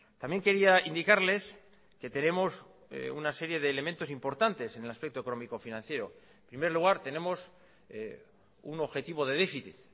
también quería indicarles que tenemos una serie de elementos importantes en el aspecto económico financiero en primer lugar tenemos un objetivo de déficit